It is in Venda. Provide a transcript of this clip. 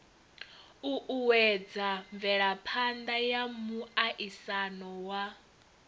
uuwedza mvelaphana ya muaisano wa